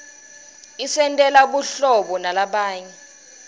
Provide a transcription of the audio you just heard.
isentela buhlobo nalabanye